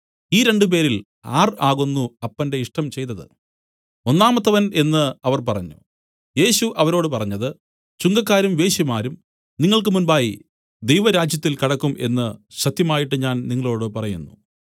ഈ രണ്ടുപേരിൽ ആർ ആകുന്നു അപ്പന്റെ ഇഷ്ടം ചെയ്തതു ഒന്നാമത്തവൻ എന്നു അവർ പറഞ്ഞു യേശു അവരോട് പറഞ്ഞത് ചുങ്കക്കാരും വേശ്യമാരും നിങ്ങൾക്ക് മുമ്പായി ദൈവരാജ്യത്തിൽ കടക്കും എന്നു സത്യമായിട്ട് ഞാൻ നിങ്ങളോടു പറയുന്നു